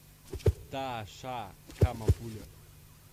таша кама пуля